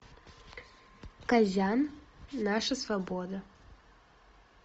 казян наша свобода